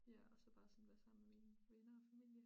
Ja og så bare sådan være sammen med mine venner og familie